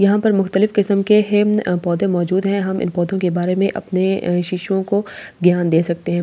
यहां पर मुकतलिब किस्‍म के हैं म पौधे मौजूद है हम इन पौधों के बारे में अपने शिष्‍यों को ज्ञान दे सकते हैं ज्ञान में --